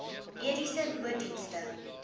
mediese nooddienste